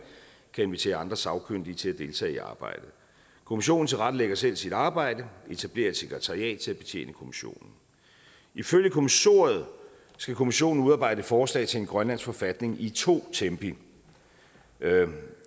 kan invitere andre sagkyndige til at deltage i arbejdet kommissionen tilrettelægger selv sit arbejde etablerer et sekretariat til at betjene kommissionen ifølge kommissoriet skal kommissionen udarbejde forslag til en grønlandsk forfatning i to tempi